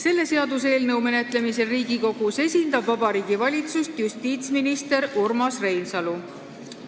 Selle seaduseelnõu menetlemisel Riigikogus esindab Vabariigi Valitsust justiitsminister Urmas Reinsalu.